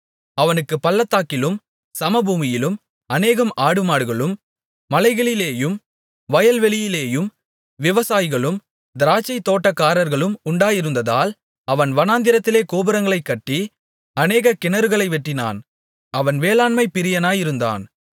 அவனுக்குப் பள்ளத்தாக்கிலும் சமபூமியிலும் அநேகம் ஆடுமாடுகளும் மலைகளிலேயும் வயல்வெளியிலேயும் விவசாயிகளும் திராட்சைத்தோட்டக்காரர்களும் உண்டாயிருந்ததால் அவன் வனாந்திரத்திலே கோபுரங்களைக் கட்டி அநேக கிணறுகளை வெட்டினான் அவன் வேளாண்மைப் பிரியனாயிருந்தான்